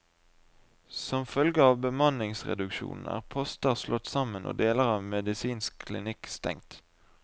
Som følge av bemanningsreduksjonen er poster slått sammen og deler av medisinsk klinikk stengt.